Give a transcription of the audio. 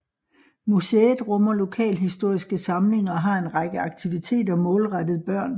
Museet rummer lokalhistoriske samlinger og har en række aktiviteter målrettet børn